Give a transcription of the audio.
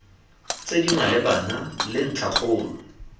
tse di malebana le ntlhakgolo